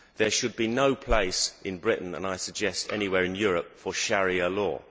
There should be no place in Britain and, I suggest, anywhere in Europe for Sharia law.